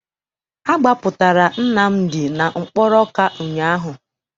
Agbapụtara Nnamdi na mkpọrọ Ọka ụnyaahụ.